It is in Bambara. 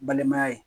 Balimaya ye